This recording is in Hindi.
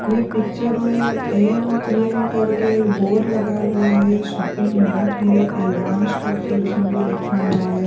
ये पिक्चर में एम पी एम करके एक बोर्ड लगा हुआ है शॉपिंग मार्ट है ए वांस टॉप सॉल्यूशन भी लिखा हुआ है।